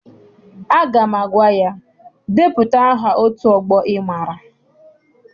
Aga m agwa ya, depụta aha otu ọgbọ ị maara!